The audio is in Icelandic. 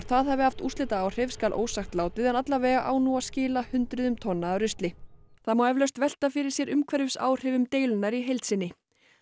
það hafi haft úrslitaáhrif skal ósagt látið en alla vega á nú að skila hundruðum tonna af rusli það má eflaust velta fyrir sér umhverfisáhrifum deilunnar í heild sinni